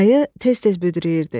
Ayı tez-tez büdrəyirdi.